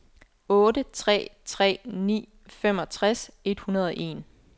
otte tre tre ni femogtres et hundrede og en